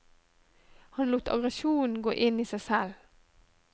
Han lot aggresjonen gå inn i seg selv.